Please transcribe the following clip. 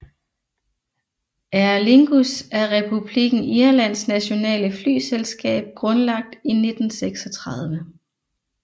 Aer Lingus er Republikken Irlands nationale flyselskab grundlagt i 1936